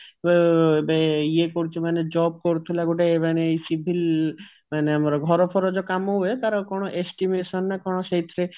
ଅ ଇଏ କରୁଛି ମାନେ job କରୁଥିଲା ଗୋଟେ ମାନେ civil ମାନେ ଘର ଫର ଯୋଉ କାମ ହୁଏ ତାର କଣ estimation ନା କଣ ସେଇଥିରେ